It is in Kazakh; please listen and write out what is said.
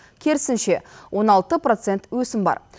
керісінше он алты процент өсім бар